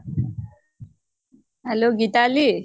hello Gitali.